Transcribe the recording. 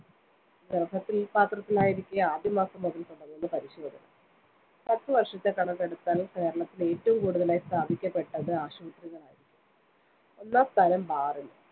ഗർഭപാത്രത്തിലായിരിക്കെ, ആദ്യമാസം മുതൽ തുടങ്ങുന്നു പരിശോധന. പത്തുവർഷത്തെ കണക്കെടുത്താൽ കേരളത്തിൽ ഏറ്റവും കുടുതലായി സ്ഥാപിക്കപ്പെട്ടത്‌ ആശുപത്രികളായിരിക്കാം. ഒന്നാം സ്ഥാനം bar ന്.